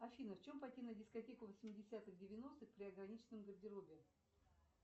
афина в чем пойти на дискотеку восьмидесятых девяностых при ограниченном гардеробе